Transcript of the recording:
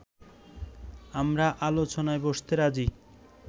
আমরা আলোচনায় বসতে রাজী